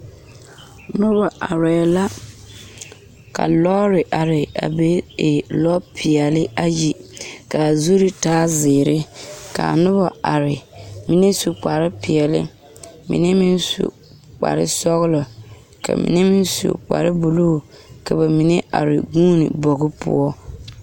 Noba arɛɛ la ka lɔɔre are a be e lɔɔpeɛle ayi k,a zuri taa zeere k,a noba are mine su kparepeɛle mine meŋ su kparesɔglɔ ka mine meŋ su kparebulu ka ba mine are gyee bogi poɔ.